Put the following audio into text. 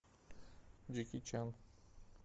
джеки чан